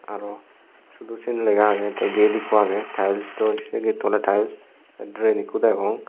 aro syot o siyen lega agey tey gate ikko agey taels door sei getto oley taels tey rel ikko degong.